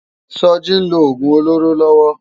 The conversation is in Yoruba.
Soji n ló ógún ólóró lòwò